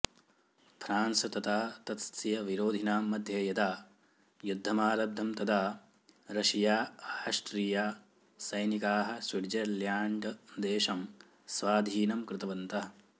France तथा तस्य विरोधिनां मध्ये यदा युध्दमारब्धम् तदा रशिया आष्ट्रिया सैनिकाः स्विट्झर्ल्याण्ड्देशं स्वाधीनं कृतवन्तः